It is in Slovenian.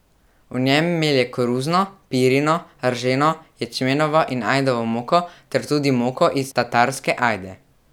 V njem melje koruzno, pirino, rženo, ječmenovo in ajdovo moko ter tudi moko iz tatarske ajde.